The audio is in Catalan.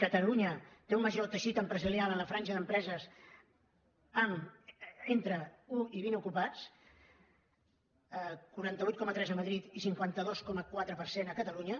catalunya té un major teixit empresarial en la franja d’empreses entre un i vint ocupats quaranta vuit coma tres a madrid i cinquanta dos coma quatre per cent a catalunya